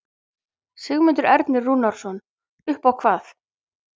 Sigmundur Ernir Rúnarsson: Upp á hvað?